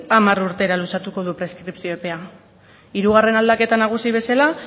hamar urtera luzatuko du preskripzio epea hirugarren aldaketa nagusi bezala